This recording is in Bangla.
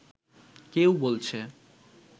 কেউ বলছে